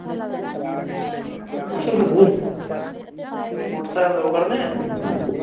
motorcycle ਦੋ ਖੜਨੇ ਐ